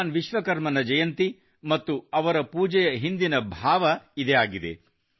ಭಗವಾನ್ ವಿಶ್ವಕರ್ಮನ ಜಯಂತಿ ಮತ್ತು ಅವರ ಪೂಜೆಯ ಹಿಂದಿನ ಭಾವ ಇದೇ ಆಗಿದೆ